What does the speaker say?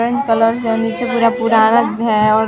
orange colour हैं और नीचे पूरा भूरा रंग हैं और--